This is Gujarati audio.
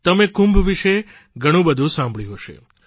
તમે કુંભ વિશે ઘણું બધું સાંભળ્યું હશે